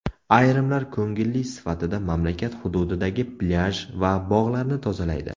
Ayrimlar ko‘ngilli sifatida mamlakat hududidagi plyaj va bog‘larni tozalaydi.